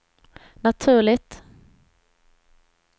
naturligt